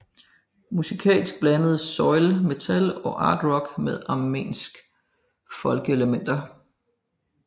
Musikalsk blandede Soil metal og art rock med armenske folkeelementer